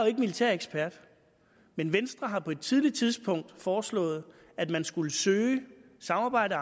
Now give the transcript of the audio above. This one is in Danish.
militærekspert men venstre har på et tidligt tidspunkt foreslået at man skulle søge samarbejde